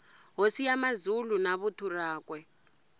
hosi ya mazulu na vuthu rakwe